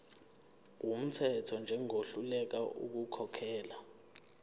wumthetho njengohluleka ukukhokhela